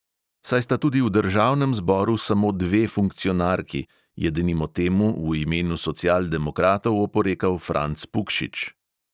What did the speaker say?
Saj sta tudi v državnem zboru samo dve funkcionarki, je denimo temu v imenu socialdemokratov oporekal franc pukšič.